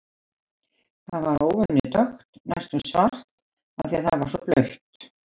Það var óvenju dökkt, næstum svart, af því að það var svo blautt.